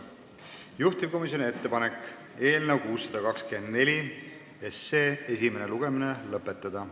Juhtivkomisjoni ettepanek on eelnõu 624 esimene lugemine lõpetada.